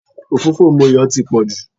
òfófó Moyo ti pọ̀ jù